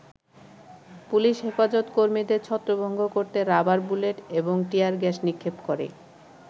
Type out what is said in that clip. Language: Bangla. পুলিশ হেফাজত কর্মীদের ছত্রভঙ্গ করতে রাবার বুলেট, এবং টিয়ারগ্যাস নিক্ষেপ করে।